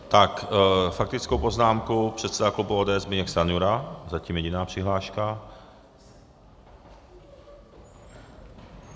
Tak faktickou poznámku předseda klubu ODS Zbyněk Stanjura, zatím jediná přihláška.